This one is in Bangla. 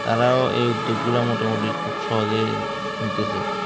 তারাও এই উদ্যোগ গুলা মোটামুটি খুব সহজেই নিতেসে